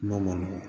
Kuma ma nɔgɔ